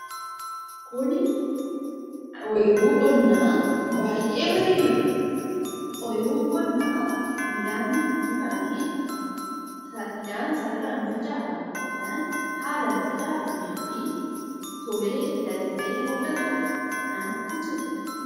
Kuni ooyiruu qonnaa, baayyee bareedudha. Ooyiruun qonnaa midhaaniin uwwifamee, midhaan sararaan kan facaafame yookaan haala facaafameefi tolee lalisee mul'atudha. Namatti tola.